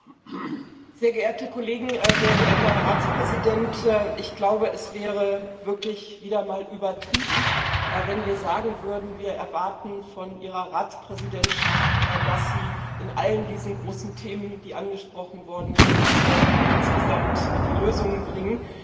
Herr Präsident, sehr geehrte Kollegen, Herr Ratspräsident! Ich glaube, es wäre wirklich wieder mal übertrieben, wenn wir sagen würden Wir erwarten von Ihrer Ratspräsidentschaft, dass sie in all diesen großen Themen, die angesprochen worden sind, insgesamt die Lösungen bringt.